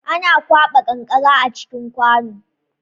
Ana kwaɓa kankara a cikin kwano